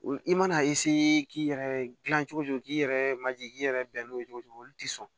I mana k'i yɛrɛ dilan cogo cogo k'i yɛrɛ manje k'i yɛrɛ bɛn n'o ye cogo o cogo olu tɛ sɔn